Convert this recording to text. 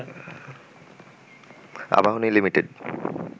Abahani limited